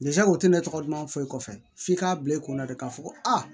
o tɛ ne tɔgɔ duman foyi kɔfɛ f'i k'a bila i kunna de k'a fɔ ko aa